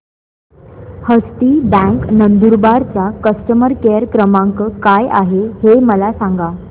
हस्ती bank Nandurbar चा customer care क्रमांक काय आहे हे मला सांगा